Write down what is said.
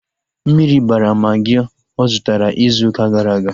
Mmiri bara magị ọ zụtara ịzụ ụka gara aga